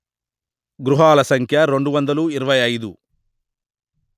గృహాల సంఖ్య రెండు వందలు ఇరవై అయిదు